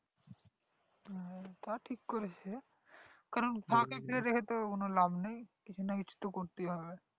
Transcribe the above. তা ঠিক করেছো কারণ ফাঁকা জমি রেখে তো কোনো লাভ নেই কোনো কিছু তো করেতেই হবে